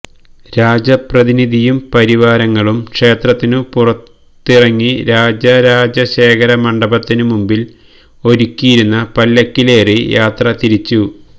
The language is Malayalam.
രാജപ്രതിനിധിയും പരിവാരങ്ങളും ക്ഷേത്രത്തിനു പുറത്തിറങ്ങി രാജരാജശേഖര മണ്ഡപത്തിനു മുമ്പില് ഒരുക്കിയിരുന്ന പല്ലക്കിലേറി യാത്രതിരിച്ചു